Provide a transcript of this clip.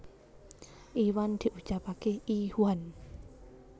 Iwan diucapake i whan